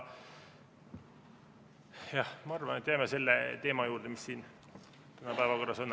Ma arvan, et jääme selle teema juurde, mis täna päevakorras on.